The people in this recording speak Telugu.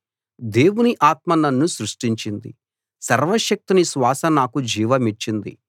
దేవుని ఆత్మ నన్ను సృష్టించింది సర్వశక్తుని శ్వాస నాకు జీవమిచ్చింది